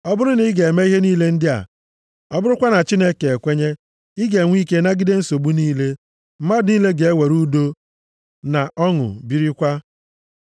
Ọ bụrụ na ị ga-eme ihe niile ndị a, ọ bụrụkwa na Chineke ekwenye, ị ga-enwe ike nagide nsogbu niile. Mmadụ niile ga-ewere udo na ọṅụ birikwa.”